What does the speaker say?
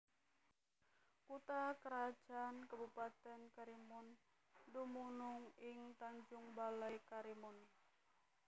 Kutha krajan Kabupatèn Karimun dumunung ing Tanjung Balai Karimun